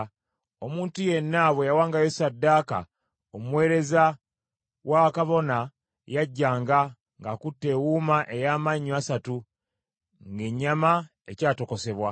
Omuntu yenna bwe yawangayo ssaddaaka, omuweereza wa kabona yajjanga, ng’akutte ewuuma ey’amannyo asatu ng’ennyama ekyatokosebwa,